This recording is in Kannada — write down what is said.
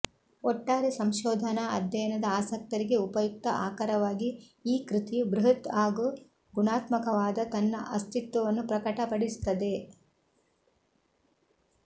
ಒಟ್ಟಾರೆ ಸಂಶೋಧನಾ ಅಧ್ಯಯನದ ಆಸಕ್ತರಿಗೆ ಉಪಯುಕ್ತ ಆಕರವಾಗಿ ಈ ಕೃತಿಯು ಬೃಹತ್ ಹಾಗೂ ಗುಣಾತ್ಮಕವಾದ ತನ್ನ ಅಸ್ತಿತ್ವವನ್ನು ಪ್ರಕಟಪಡಿಸುತ್ತದೆ